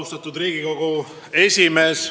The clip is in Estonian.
Austatud Riigikogu esimees!